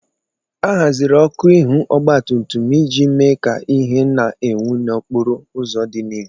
A haziri ọkụ ihu ogbatumtum iji mee ka ìhè na-enwu n'okporo ụzọ dị n'ihu.